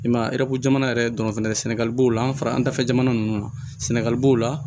I m'a ye jamana yɛrɛ dɔnniya sɛnɛgali b'o la an fara an dafɛ jamana ninnu na sɛnɛgali b'o la